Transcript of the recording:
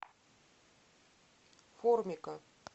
формика